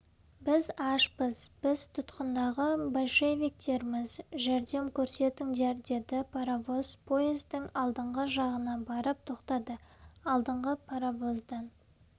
біз ашпыз біз тұтқындағы большевиктерміз жәрдем көрсетіңдер деді паровоз поездың алдыңғы жағына барып тоқтады алдыңғы паровоздан